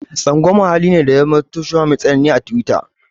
Tsangwama hali ne da ya zamo mai tsanani a tiwita.